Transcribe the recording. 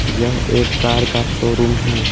यह एक कार का शोरूम है।